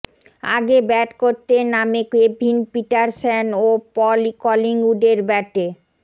আগে ব্যাট করতে নেমে কেভিন পিটারসেন ও পল কলিংউডের ব্যাটে